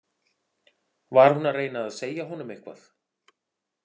Var hún að reyna að segja honum eitthvað?